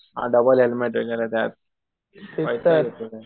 आ double हेल्मेटे कि नाही त्यात नाहीतर